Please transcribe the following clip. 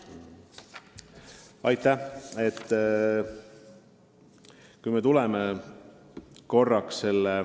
Aitäh!